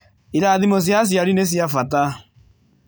Irathimo cia aciari nĩ cia bata